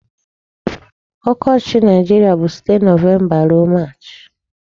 Ọkọchị Nigeria bụ site November ruo March.